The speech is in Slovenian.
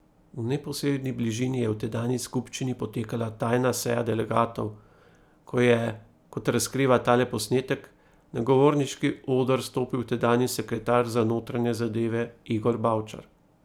V neposredni bližini je v tedanji skupščini potekala tajna seja delegatov, ko je, kot razkriva tale posnetek, na govorniški oder stopil tedanji sekretar za notranje zadeve Igor Bavčar.